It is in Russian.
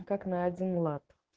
как на один лад